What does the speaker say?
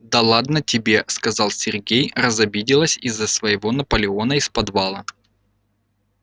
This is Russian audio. да ладно тебе сказал сергей разобиделась из-за своего наполеона из подвала